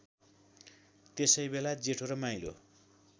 त्यसैबेला जेठो र माहिलो